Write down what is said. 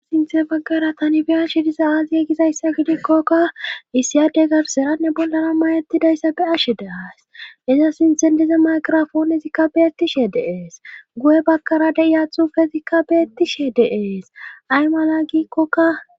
sinthe baggara tani bi'ashe diza aazi yegizayssa gidikkokka issiyade garseranne bollana mayettidayssa be'ashe de'aayis iza sinthen diza maqrafoonezikka beettishe dee'es guye baggara de'iya xufezikka beettishe de'ees ay mala giikkokka